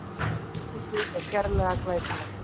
Eldhúsið er sérlega glæsilegt